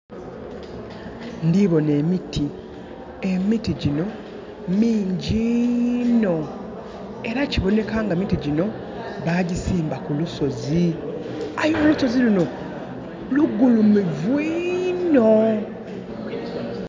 Ndhi bona emiti. Emiti gyino mingyi inho. Era kiboneka nga emiti gyino bagisimba ku lusozi. Aye olusozi luno lugulumivu inho.